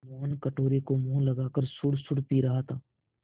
मोहन कटोरे को मुँह लगाकर सुड़सुड़ पी रहा था